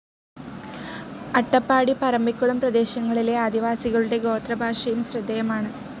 അട്ടപ്പാടി പറമ്പിക്കുളം പ്രദേശങ്ങളിലെ ആദിവാസികളുടെ ഗോത്രഭാഷയും ശ്രദ്ധേയമാണ്.